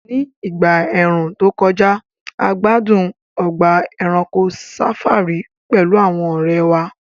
Ní ìgbà ẹ̀ẹ̀rùn tó kọjá, a gbádùn ọgbà ẹranko safari pẹ̀lú àwọn ọ̀rẹ́ wa